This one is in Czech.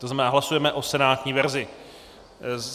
To znamená, hlasujeme o senátní verzi.